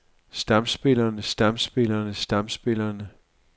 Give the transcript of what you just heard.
stamspillerne stamspillerne stamspillerne